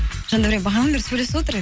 жандәурен бағанадан бері сөйлесіп отыр